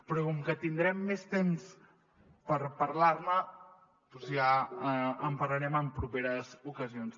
però com que tindrem més temps per parlar ne doncs ja en parlarem en properes ocasions